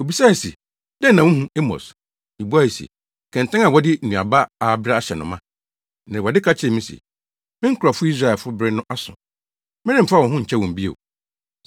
Obisae se, “Dɛn na wuhu, Amos?” Mibuae se, “Kɛntɛn a wɔde nnuaba a abere ahyɛ no ma.” Na Awurade ka kyerɛɛ me se, “Me nkurɔfo Israelfo bere no aso; meremfa wɔn ho nkyɛ wɔn bio.”